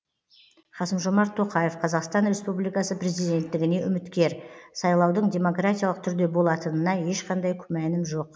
қасым жомарт тоқаев қазақстан республикасы президенттігіне үміткер сайлаудың демократиялық түрде болатынына ешқандай күмәнім жоқ